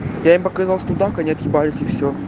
я им показал студак они отъебались и всё